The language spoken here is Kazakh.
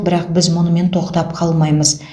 бірақ біз мұнымен тоқтап қалмаймыз